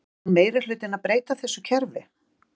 Og ætlar meirihlutinn að breyta þessu kerfi?